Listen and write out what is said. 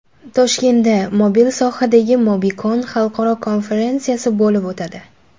Toshkentda mobil sohadagi MobiCon xalqaro konferensiyasi bo‘lib o‘tadi.